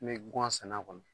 Ne bɛ gwan sɛnɛ a kɔnɔ.